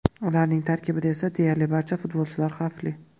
Ularning tarkibida esa deyarli barcha futbolchilar xavfli.